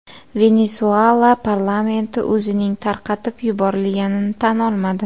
Venesuela parlamenti o‘zining tarqatib yuborilganini tan olmadi.